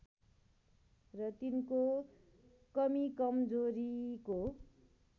र तिनको कमीकमजोरीको